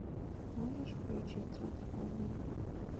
можешь включить трансформеры